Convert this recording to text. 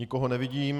Nikoho nevidím.